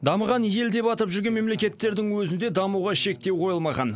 дамыған ел деп атап жүрген мемлекеттердің өзінде дамуға шектеу қойылмаған